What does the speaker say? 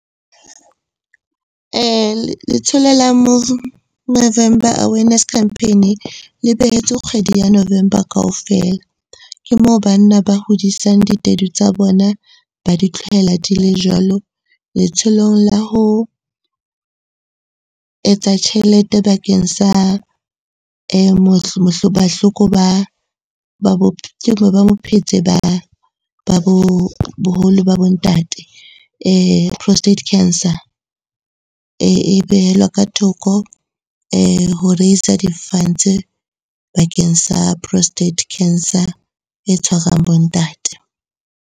Letsholo la Movember Awareness Campaign le behetswe kgwedi ya November kaofela. Ke moo banna ba hodisang ditedu tsa bona ba di tlohela di le jwalo. Letsholong la ho etsa tjhelete bakeng sa bahloko ba bophetse boholo ba bo ntate prostate cancer. E behella ka thoko ho raiser di-funds bakeng sa prostate cancer e tshwarang bo ntate.